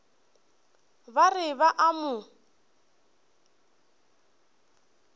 ba re ba a mo